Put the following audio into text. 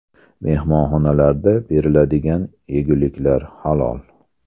Mehmonxonalarda beriladigan yeguliklar – halol.